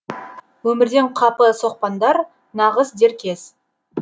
өмірден қапы соқпаңдар нағыз дер кез